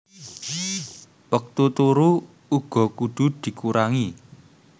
Wektu turu uga kudu dikurangi